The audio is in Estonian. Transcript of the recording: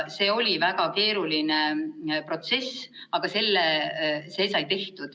See oli väga keeruline protsess, aga see sai tehtud.